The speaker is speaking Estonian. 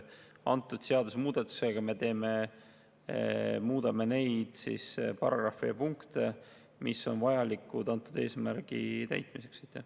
Antud seadusemuudatusega me muudame neid paragrahve ja punkte, mis on vajalikud antud eesmärgi täitmiseks.